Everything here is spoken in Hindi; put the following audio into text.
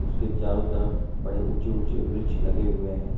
उसके चारों तरफ बड़े ऊंचे ऊंचे वृक्ष लगे हुए हैं।